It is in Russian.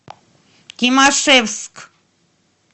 тимашевск